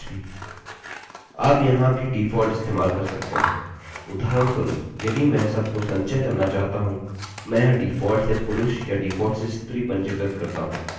या आपकी मर्जी का कुछ भी आप यहाँ भी डिफॉल्ट इस्तेमाल कर सकते हैं